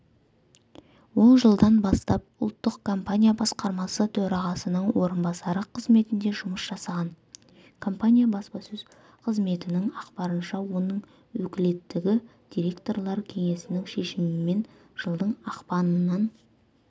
ол жылдан бастапұлттық компания басқармасы төрағасының орынбасары қызметінде жұмыс жасаған компания баспасөз қызметінің ақпарынша оның өкілеттігі директорлар кеңесінің шешімімен жылдың ақпанынан